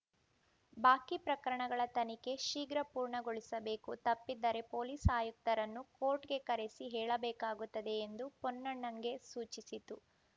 ಬಾಕಿ ಪ್ರಕರಣಗಳ ತನಿಖೆ ಶೀಘ್ರ ಪೂರ್ಣಗೊಳಿಸಬೇಕು ತಪ್ಪಿದರೆ ಪೊಲೀಸ್‌ ಆಯುಕ್ತರನ್ನು ಕೋರ್ಟ್‌ಗೆ ಕರೆಸಿ ಹೇಳಬೇಕಾಗುತ್ತದೆ ಎಂದು ಪೊನ್ನಣ್ಣಗೆ ಸೂಚಿಸಿತು